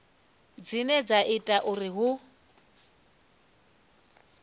dzine dza ita uri hu